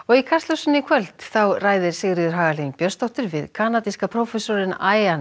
í Kastljósi í kvöld ræðir Sigríður Hagalín Björnsdóttir við kanadíska prófessorinn